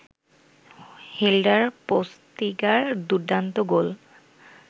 হেল্ডার পোস্তিগার দুর্দান্ত গোল